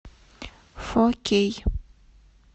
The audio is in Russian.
фо кей